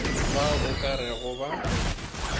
bao o ka rego ba